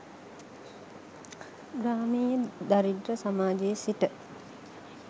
ග්‍රාමීය දරිද්‍ර සමාජයේ සිට